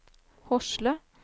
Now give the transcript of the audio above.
Hosle